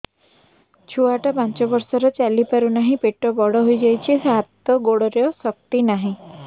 ଛୁଆଟା ପାଞ୍ଚ ବର୍ଷର ଚାଲି ପାରୁ ନାହି ପେଟ ବଡ଼ ହୋଇ ଯାଇଛି ହାତ ଗୋଡ଼ରେ ଶକ୍ତି ନାହିଁ